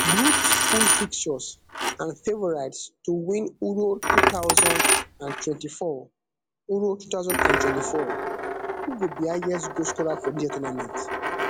groups full fixtures and favourites to to win euro two thousand and twenty-four euro two thousand and twenty-four who go be highest goal scorer for dis year tournament